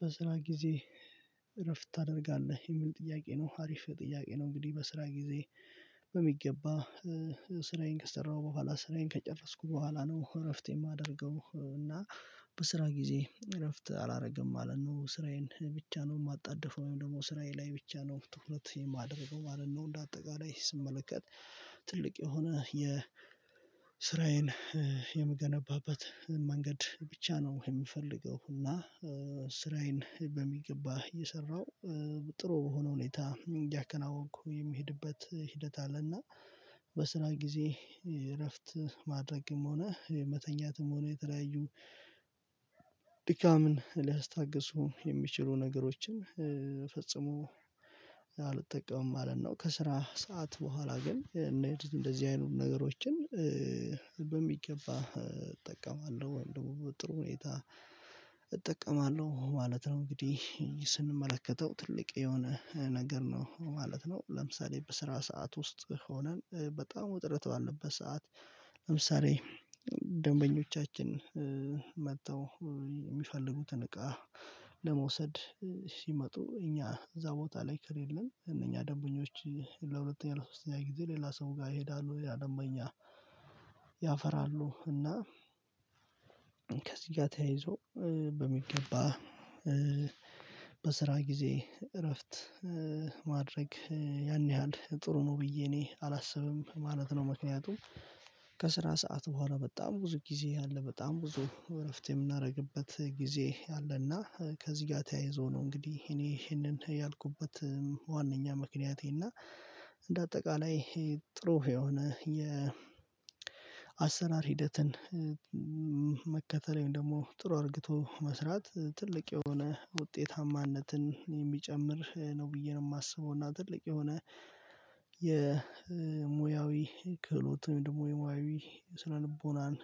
በስራ ጊዜ እረፍት ታደርጋለህ የሚል ጥያቄ ነው አሪፍ ጥያቄ ነው። እንግዲህ በስራ ጊዜ በሚገባ ስራዬን ከሰራሁ በኋላ ስራዬን ከጨረስኩ በኋላ ነው እረፍት የማደርገው። እና በስራ ጊዜ እረፍት አላደርግም አለን ነው ስራዬን ብቻ ነው የማጣድፈው ወይም ደግሞ ስራዬ ላይ ብቻ ነው ትኩረት የማደርገው ማለት ነው። እንደ አጠቃላይ ስመለከት ትልቅ የሆነ የ የስራዬን የምገነባባት መንገድ ብቻ ነው የሚፈልገው። እና በሚገባ እየሰራሁ ጥሩ በሆነ ሁኔታ እያከናወንኩ የሚሄድበት ሂደት አለና በስራ ጊዜ እረፍት ማድረግም ሆነ መተኛትም ሆኖ የተለያዩ ድካምን ሊያስታግሱ የሚችሉ ነገሮችን ፈጽሞ አልጠቀምም ማለት ነው። ከስራ ሰዓት በኋላ ግን እንደዚህ አይኑር ነገሮችን በሚገባ እጠቀማለሁ ወይም ደግሞ ጥሩ ሁኔታ እጠቀማለሁ ማለት ነው። እንግዲህ ስንመለከተው ትልቅ የሆነ ነገር ነው ማለት ነው። ለምሳሌ በስራ ሰዓት ውስጥ ሆነን በጣም ውጥረት ባለበት ሰዓት ለምሳሌ ደንበኞቻችን መጥተው የሚፈልጉትን እቃ ለመውሰድ ሲመጡ እኛ እዛ ቦታ ላይ ከሌለን እነኛ ደንበኞች ለሁለተኛ ለሶስተኛ ጊዜ ሌላ ሰው ጋር ይሄዳሉ ያለምኛ ያፈራሉ። እና ከዚህ ጋር ተያይዞ በሚገባ በስራ ጊዜ እረፍት ማድረግ ያን ያህል ጥሩ ነው ብዬ እኔ አላስብም ማለት ነው። ምክንያቱም ከስራ ሰዓት በኋላ በጣም ብዙ ጊዜ ያለ በጣም ብዙ እረፍት የምናደርግበት ጊዜ አለና ከዚህ ጋር ተያይዞ ነው። እንግዲህ እኔ ይሄንን ያልኩበት ዋናኛ ምክንያቴ እና እንደ አጠቃላይ ጥሩ የሆነ የ ሂደትን መከተለኝ ደግሞ ጥሩ አድርግቶ መስራት ትልቅ የሆነ ውጤታማነትን የሚጨምር ነው ብዬ ነው የማስበው። እና ትልቅ የሆነ የሙያዊ ክህሎትም ደግሞ የሙያዊ ስነልቦናን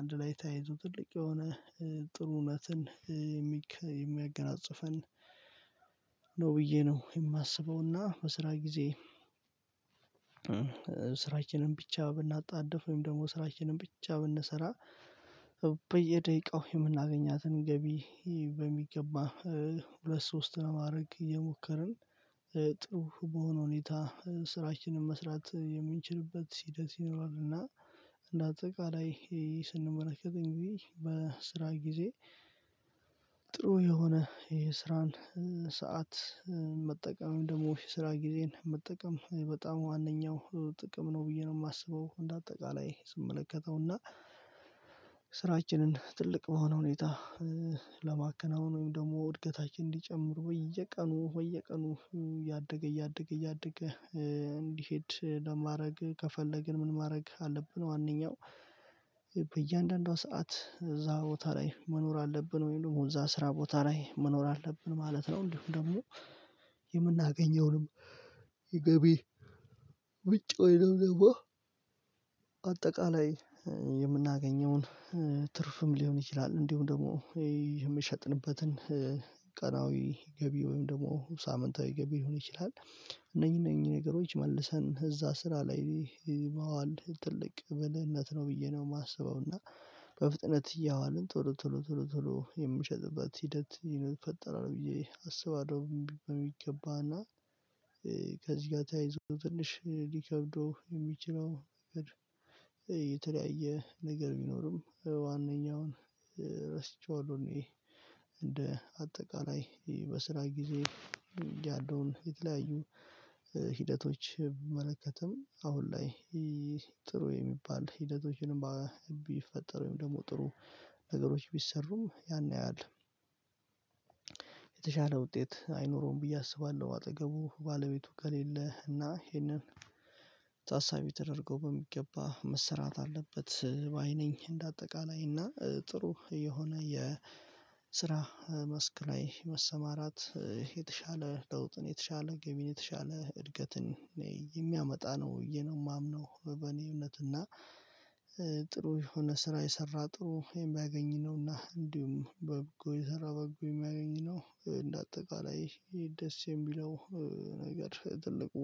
አንድ ላይ ታይዞ ትልቅ የሆነ ጥሩ እውነትን የሚያገናጽፈን ነው ብዬ ነው የማስበውና። በስራ ጊዜ ስራችንን ብቻ ብናጣድፍ ወይም ደግሞ ስራችንን ብቻ ብንሰራ በየደቂቃው የምናገኛትን ገቢ በሚገባ ሁለት ሶስት ማድረግ እየሞከርን ጥሩ በሆነ ሁኔታ ስራችንን መስራት የምንችልበት ሲደርስ ይኖራል። እና እንደ አጠቃላይ ስንመለከተኝ ጊዜ ጊዜ ጥሩ የሆነ የስራን ሰዓት መጠቀም ደግሞ ስራ ጊዜን መጠቀም በጣም ዋናው ጥቅም ነው ብዬ ነው የማስበው። እንደ አጠቃላይ ስመለከተውና ስራችንን ትልቅ በሆነ ሁኔታ ለማከናወን ወይም ደግሞ ወድቀታችን እንዲጨምሩ ወይ እየቀኑ ወይ እየቀኑ ያደገ ያደገ ያደገ እንዲሄድ ለማድረግ ከፈለግን ምን ማድረግ አለብን? ዋናው በእያንዳንዷ ሰዓት እዛ ቦታ ላይ መኖር አለብን ወይም ደግሞ እዛ ስራ ቦታ ላይ መኖር አለብን ማለት ነው። እንዲሁ ደግሞ የምናገኘውንም ይገቢ ውጭ ወይ ደግሞ አጠቃላይ የምናገኘውን ትርፍም ሊሆን ይችላል። እንዲሁም ደግሞ የምሸጥንበትን ቀናዊ ገቢ ወይም ደግሞ ሳምንታዊ ገቢ ሊሆን ይችላል። እነኚህ እነኚህ ነገሮች መልሰን እዛ ስራ ላይ መዋል ትልቅ ብልህነት ነው ብዬ ነው የማስበው። እና በፍጥነት እያዋልን ቶሎ ቶሎ ቶሎ ቶሎ የምሸጥበት ሂደት ፈጠራለሁ ብዬ አስባለሁ። በሚገባና ከዚህ ጋር ተያይዞ ትንሽ ሊከብደው የሚችለው የተለያየ ነገር ቢኖርም ዋናውን ረስተዋለሁ። እኔ እንደ አጠቃላይ በስራ ጊዜ ያለውን የተለያዩ ሂደቶች ብመለከትም አሁን ላይ ጥሩ የሚባል ሂደቶችንም ቢፈጠር ወይም ደግሞ ጥሩ ነገሮች ቢሰሩም ያን ያያል የተሻለ ውጤት አይኖረውም ብዬ አስባለሁ። አጠገቡ ባለቤቱ ከሌለ እና ይሄንን ታሳቢ ተደርገው በሚገባ መሰራት አለበት። በአይኔን እንደ አጠቃላይ እና ጥሩ የሆነ የስራ መስክ ላይ መሰማራት የተሻለ ለውጥን የተሻለ ገቢን የተሻለ እድገትን የሚያመጣ ነው እየነው የማምነው። በእኔ እውነት እና ጥሩ የሆነ ስራ የሰራ ጥሩ የማያገኝ ነውና እንዲሁም በበጎ የሰራ በበጎ የሚያገኝ ነው። እንደ አጠቃላይ ደስ የሚለው ነገር ትልቁ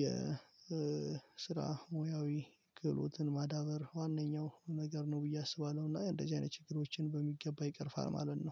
የስራ ሙያዊ ግሎትን ማዳበር ዋናው ነገር ነው ብዬ አስባለሁ። እና እንደዚህ አይነት ችግሮችን በሚገባ ይቅርፋል ማለት ነው